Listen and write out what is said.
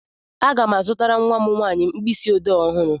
Aga m azụtara nwa m nwaanyị mkpịsị ọdee ọhụrụ.